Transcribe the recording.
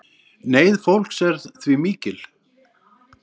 Neyð fólks er því mikil